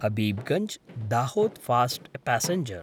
Habibganj Dahod fast passenger